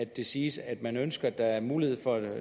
det siges at man ønsker at der er mulighed for